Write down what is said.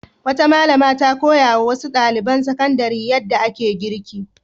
Wata malama ta koya wa wasu ɗaliban sakandare yadda ake girki.